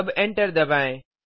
अब एंटर दबाएँ